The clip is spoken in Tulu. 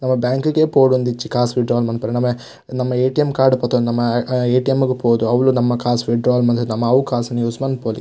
ನಮ ಬ್ಯಾಂಕ್ ಗೇ ಪೋವೊಡುಂದಿಜ್ಜಿ ಕಾಸ್ ವಿಡ್ ಡ್ರಾ ಮನ್ಪರೆ ನಮ ನಮ ಏಟಿಎಮ್ ಕಾರ್ಡ್ ಪತೊಂದು ನಮ ಏಟಿಎಮ್ ಗು ಪೋದು ಅವ್ಲು ನಮ ಕಾಸ್ ವಿಡ್ ಡ್ರಾ ಮಂತ್ ನಮ ಅವು ಕಾಸ್ ನು ಯೂಸ್ ಮನ್ಪೊಲಿ.